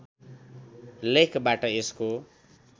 लेखबाट यसको